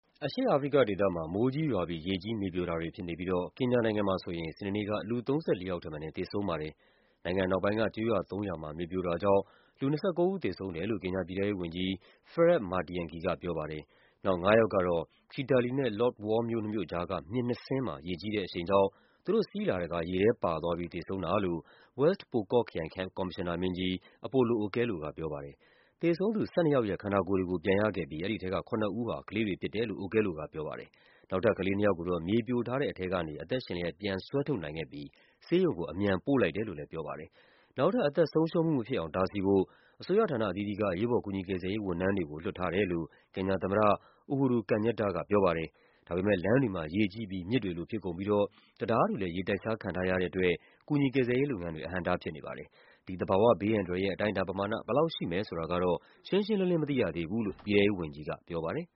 အရှေ့အာဖရိကဒေသမှာ မိုးကြီးရွာပြီး ရေကြီး မြေပြိုတာတွေ ဖြစ်နေလို့ ကင်ညာနိုင်ငံမှာဆိုရင် စနေနေ့က လူ ၃၄ ယောက်ထက်မနည်း သေဆုံးပါတယ်။ နိုင်ငံအနောက်ပိုင်းက ကျေးရွာသုံးရွာမှာ မြေပြိုတာကြောင့် လူ ၂၉ ဦး သေဆုံးတယ်လို့ ကင်ညာပြည်ထဲရေးဝန်ကြီး Fred Matiangi က ပြောပါတယ်။ နောက် ၅ ယောက်ကတော့ Kitale နဲ့ Lodwar မြို့နှစ်မြို့ကြားက မြစ်နှစ်စင်းမှာ ရေကြီးတဲ့အရှိန်ကြောင့် သူတို့စီးလာတဲ့ကား ရေထဲပါသွားပြီး သေဆုံးတာလို့ Wes Pokot ခရိုင် ကော်မရှင်နာမင်းကြီး Apollo Okello က ပြောပါတယ်။ သေဆုံးသူ ၁၂ ယောက်ရဲ့ ခန္ဓာကိုယ်တွေကို ပြန်ရခဲ့ပြီး အဲဒီထဲက ၇ ဦးဟာ ကလေးတွေဖြစ်တယ်လို့ Okello က ပြောပါတယ်။ နောက်ထပ် ကလေး ၂ ယောက်ကိုတော့ မြေပြိုထားတဲ့ အထဲကနေ အသက်ရှင်လျက် ပြန်ဆွဲထုတ်နိုင်ခဲ့ပြီး ဆေးရုံကို အမြန်ပို့လိုက်တယ်လို့လည်း ပြောပါတယ်။ နောက်ထပ် အသက်ဆုံးရှုံးမှု မဖြစ်အောင် တားဆီးဖို့ အစိုးရဌာန အသီးသီးက အရေးပေါ် ကူညီကယ်ဆယ်ရေး ဝန်ထမ်းတွေကို လွှတ်ထားတယ်လို့ ကင်ညာသမ္မတ Uhuru Kenyatta က ပြောပါတယ်။ ဒါပေမယ့် လမ်းတွေမှာ ရေကြီးပြီး မြစ်တွေလို ဖြစ်ကုန်ပြီးတော့ တံတားတွေလည်း ရေတိုက်စားခံထားရတဲ့အတွက် ကူညီကယ်ဆယ်ရေး လုပ်ငန်းတွေ အဟန့်အတား ဖြစ်နေပါတယ်။ ဒီ သဘာဝဘေးအန္တရာယ်ရဲ့ အတိုင်းအတာပမာဏ ဘယ်လောက်ရှိမယ် ဆိုတာကတော့ ရှင်းရှင်းလင်းလင်း မသိရသေးဘူးလို့ ပြည်ထဲရေးဝန်ကြီးက ပြောပါတယ်